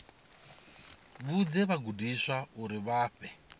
vhudze vhagudiswa uri vha fhe